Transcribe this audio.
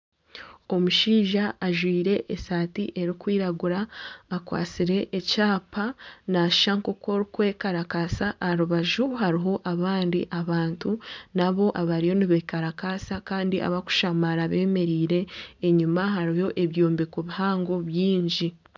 Omushaija ajwaire esaati erikwiragura akwatsire ekyapa nashusha nka orikwekarakasa aha rubaju hariho abandi abantu naabo abariyo nibekarakasa kandi abakushamara bemereire enyuma hariyo ebyombeko bihango byingi.